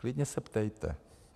Klidně se ptejte.